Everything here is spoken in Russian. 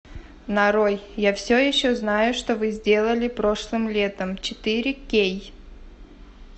нарой я все еще знаю что вы сделали прошлым летом четыре кей